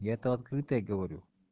я то открытая говорю